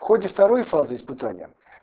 в ходе второй фазы испытания